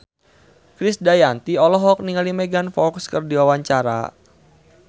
Krisdayanti olohok ningali Megan Fox keur diwawancara